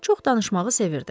Çox danışmağı sevirdi.